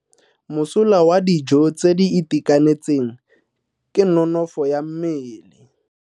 Mosola wa dijo tse di itekanetseng ke nonofo ya mmele.